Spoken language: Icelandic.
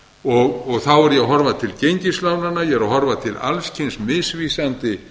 og þá er ég að horfa til gengislánanna ég er að horfa til alls kyns misvísandi